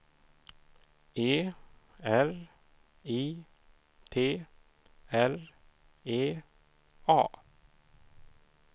E R I T R E A